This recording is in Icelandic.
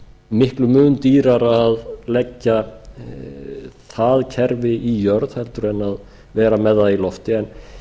miklum mun dýrara að leggja það kerfi í jörð heldur en vera með það í lofti en